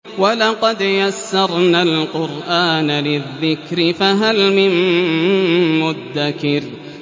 وَلَقَدْ يَسَّرْنَا الْقُرْآنَ لِلذِّكْرِ فَهَلْ مِن مُّدَّكِرٍ